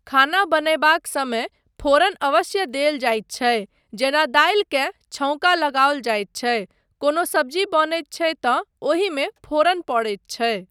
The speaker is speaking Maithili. खाना बनयबाक समय फोरन अवश्य देल जाइत छै जेना दालिकेँ छौङ्का लगाओल जाइत छै, कोनो सब्जी बनैत छै तँ ओहिमे फोरन पड़ैत छै।